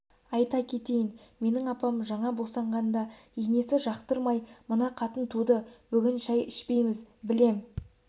айта кетейін менің апам жаңа босанғанда енесі жақтырмай мына қатын туды бүгін шай ішпейміз білем